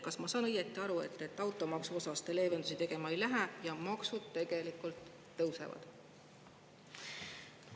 Kas ma saan õigesti aru, et automaksu puhul te leevendusi tegema ei lähe ja maksud tegelikult tõusevad?